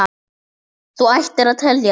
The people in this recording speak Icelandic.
Þú ættir að telja það.